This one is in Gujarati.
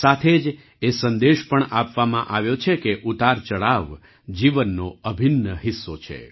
સાથે જ એ સંદેશ પણ આપવામાં આવ્યો છે કે ઉતારચડાવ જીવનનો અભિન્ન હિસ્સો છે